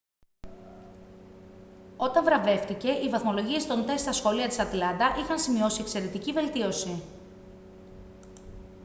όταν βραβεύτηκε οι βαθμολογίες των τεστ στα σχολεία της ατλάντα είχαν σημειώσει εξαιρετική βελτίωση